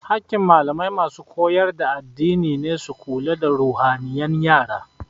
Hakin malamai masu koyar da addini ne su lura da ruhaniyan yara